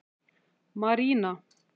Marína